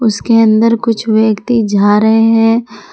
उसके अंदर कुछ व्यक्ति झा रहे हैं।